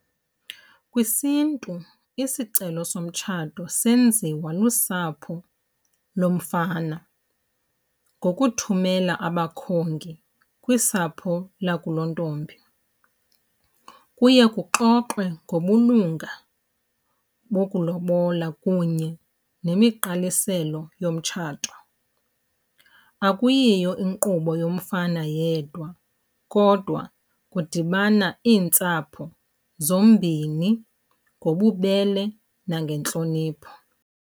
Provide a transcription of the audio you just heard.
KwisiNtu isicelo somtshato senziwa lusapho lomfana ngokuthumela abakhongi kwisapho lakulontombi. Kuye kuxoxwe ngobulunga bokulobola kunye nemiqaliselo yomtshato. Akuyiyo inkqubo yomfana yedwa, kodwa kudibana iintsapho zombini ngobubele nangentlonipho.